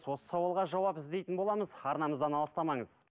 осы сауалға жауап іздейтін боламыз арнамыздан алыстамаңыз